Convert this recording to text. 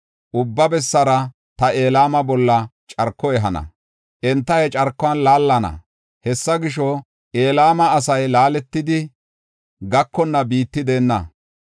Ubba bessara ta Elama bolla carko ehana; enta he carkuwan laallana. Hessa gisho, Elama asay laaletidi gakonna biitti deenna.